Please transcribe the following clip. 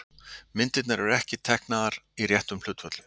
Myndirnar eru ekki teiknaðar í réttum hlutföllum.